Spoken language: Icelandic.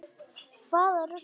Hvaða rugl var þetta nú?